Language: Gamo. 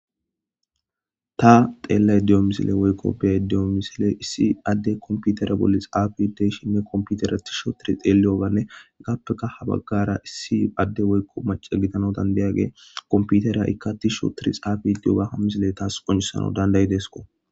Ta xeellay diyo misile woykko beya diyo misile issi adde komputere bolli xaafideyshinne komputera tishsho tiri xeeliyobanne gappeka ha baggara issi adde woykko mace gitano dandeyaage komputera ikka tisho tiri xaafidiyoga ha misile taas qoncisano dandayi deesko.